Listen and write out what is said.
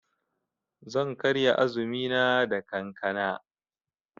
Zan karya azumina da kankana.